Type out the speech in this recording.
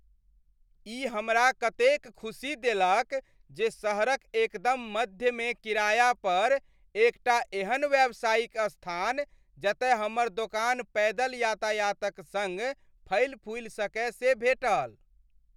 ई हमरा कतेक ख़ुशी देलक जे शहरक एकदम मध्यमे किराया पर एक टा एहन व्यावसायिक स्थान जतय हमर दोकान पैदल यातायातक सङ्ग फलिफूलि सकय से भेटल ।